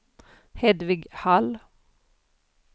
Hedvig Hall